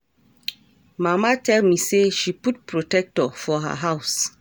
Mama tell me say she put protector for her house